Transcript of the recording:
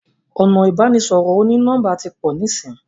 ọnà ibanisọrọ oni-nọmba tí pọ nisin.